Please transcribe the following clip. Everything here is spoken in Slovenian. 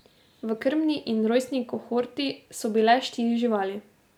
V krmni in rojstni kohorti so bile štiri živali.